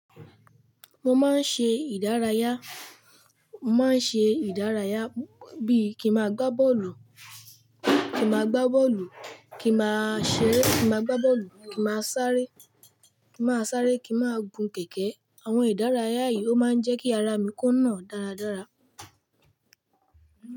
Mo máa ń ṣe ìdárayá, mo máa ń ṣe ìdárayá bí i kí ma gbá bọ́ọ̀lù, kí ma gbá bọ́ọ̀lù, kí ma ṣeré, kí ma gbá bọ́ọ̀lù, kí ma sáré, kí ma sáré, kí ma gun kẹ̀kẹ́. Àwọn ìdárayá yìí ó máa ń jẹ́ kí ara mi kùnà dáradára.